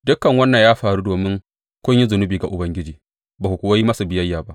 Dukan wannan ya faru domin kun yi zunubi ga Ubangiji ba ku kuwa yi masa biyayya ba.